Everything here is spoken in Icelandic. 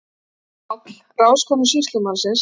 PÁLL: Ráðskonu sýslumannsins?